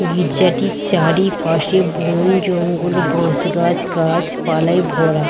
গিজ্জাটির চারিপাশে বোন জঙ্গল বাশ গাছ গাছ পালায় ভরা।